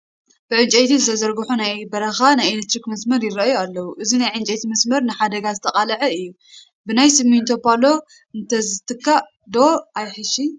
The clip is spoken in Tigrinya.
ብእንጨይቲ ዝተዘርግሑ ናይ በረኻ ናይ ኤለክትሪክ መስመር ይርአዩ ኣለዉ፡፡ እዚ ናይ ዕንጨይቲ መስመር ንሓደጋ ዝተቃልዐ እዩ፡፡ ብናይ ስሚንቶ ፓሎ እንተዝትካእ ዶ ኣየሕይሽን?